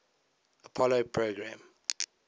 apollo program